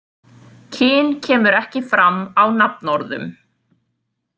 Kyn kemur ekki fram á nafnorðum.